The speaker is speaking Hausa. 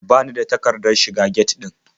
Ba ni da takardar shiga get ɗin.